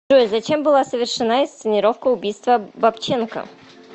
джой зачем была совершена инсценировка убийства бабченко